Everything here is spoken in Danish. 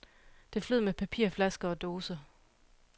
Det flød med papir, flasker og dåser.